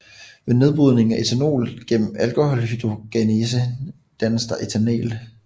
Ved nedbrydningen af ethanol gennem alkoholdehydrogenasen dannes der ethanal